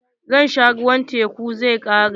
Ruwan tekun zai ƙare.